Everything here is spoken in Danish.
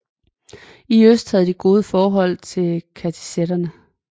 I øst havde de gode forhold til kassitterne